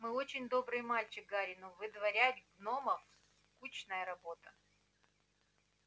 ты очень добрый мальчик гарри но выдворять гномов скучная работа